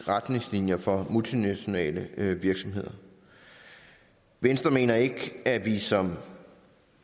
retningslinjer for multinationale virksomheder venstre mener ikke at vi som